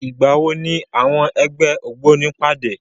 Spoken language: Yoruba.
Ìgbàwo ni àwọn ẹgbẹ́ ògbóni pàdé?